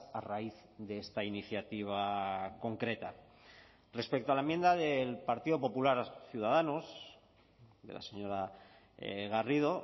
a raíz de esta iniciativa concreta respecto a la enmienda del partido popular ciudadanos de la señora garrido